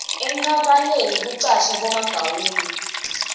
enkapaneni kucashwe bomagawula